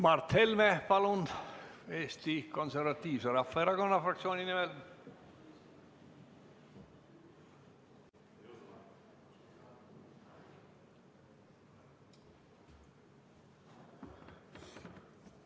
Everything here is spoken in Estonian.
Mart Helme, palun, Eesti Konservatiivse Rahvaerakonna fraktsiooni nimel!